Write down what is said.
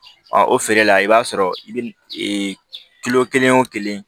o feere la i b'a sɔrɔ i bɛ kelen o kelen